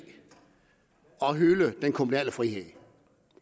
at hylde den kommunale frihed